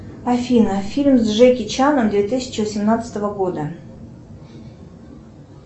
афина фильм с джеки чаном две тысячи восемнадцатого года